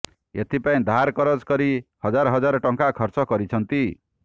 ଏଥିପାଇଁ ଧାର କରଜ କରି ହଜାର ହଜାର ଟଙ୍କା ଖର୍ଚ୍ଚ କରିଛନ୍ତି